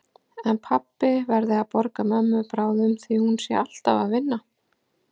En pabbi verði að borga mömmu bráðum því hún sé alltaf að vinna.